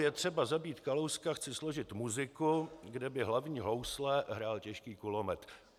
Je třeba zabít Kalouska chci složit muziku, kde by hlavní housle hrál těžký kulomet.